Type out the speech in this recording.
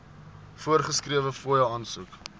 voorgeskrewe fooie aansoek